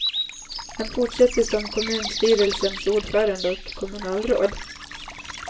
Han fortsätter som kommunstyrelsens ordförande och kommunalråd.